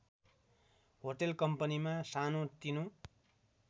hotel कम्पनीमा सानोतिनो